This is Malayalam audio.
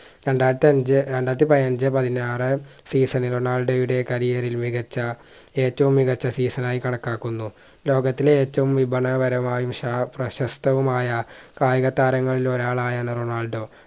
രണ്ടായിരത്തി അഞ്ച് രണ്ടായിരത്തി പതിനഞ്ച്‌ പതിനാറ് season ൽ റൊണാൾഡോയുടെ career ൽ മികച്ച ഏറ്റവും മികച്ച season ആയി കണക്കാക്കുന്നു ലോകത്തിലെ ഏറ്റവും വിപണനപരമായും ഷാ പ്രശസ്തവുമായ കായിക താരങ്ങളിൽ ഒരാളായാണ് റൊണാൾഡോ